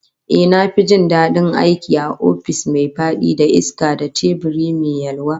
Ehh, na fi jin dadin aiki a ofis mai fadi da iska da teburi mai yalwa